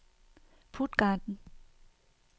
Puttgarden